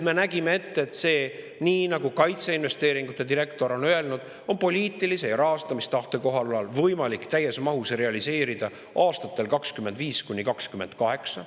Me nägime selles ette, nii nagu kaitseinvesteeringute direktor on öelnud, et see on poliitilise ja rahastamistahte kohalolul võimalik täies mahus realiseerida aastatel 2025–2028.